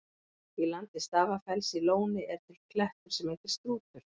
Í landi Stafafells í Lóni er til klettur sem heitir Strútur.